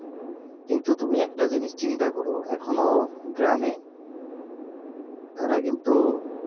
তুমি একটা জিনিস চিন্তা কর এখনো গ্রামে তারা কিন্তু